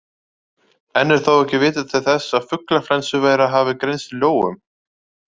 Enn er þó ekki vitað til þess að fuglaflensuveira hafi greinst í lóum.